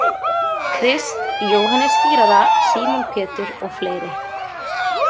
Krist, Jóhannes skírara, Símon Pétur og fleiri.